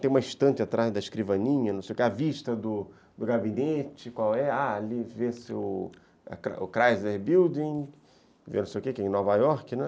Tem uma estante atrás da escrivaninha, a vista do gabinete, qual é, ali vê-se o Chrysler Building, vê-se o quê, que é em Nova Iorque, né?